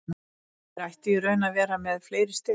Þeir ættu í raun að vera með fleiri stig.